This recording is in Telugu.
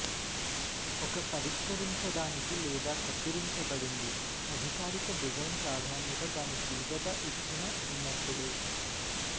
ఒక పరిష్కరించడానికి లేదా కత్తిరించబడింది అధికారిక డిజైన్ ప్రాధాన్యత దాని తీవ్రత ఇచ్చిన ఉన్నప్పుడు